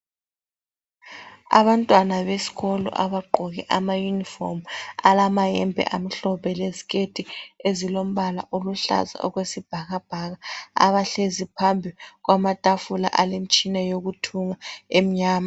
Abantwana besikolo abagqoke amauniform. Alamayembe amhlophe leziketi ezilombala oluhlaza okwesibhakabhaka. Abahlezi phambi kwamatafula alemtshina yokuthunga emnyama.